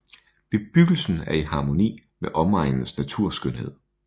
Bebyggelsen er i harmoni med omegnens naturskønhed